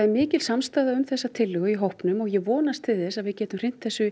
mikil samstaða um þessa tillögu í hópnum og ég vona að við getum hrint þessu